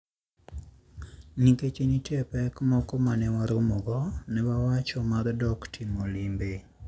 Nikech ne nitie pek moko ma ne waromogo, ne wachano mar dok timo limbe.